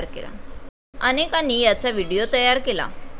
अनेकांनी याचा व्हिडीओ तयार केला.